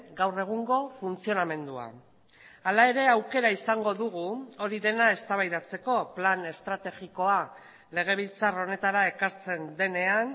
gaur egungo funtzionamendua hala ere aukera izango dugu hori dena eztabaidatzeko plan estrategikoa legebiltzar honetara ekartzen denean